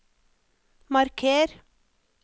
marker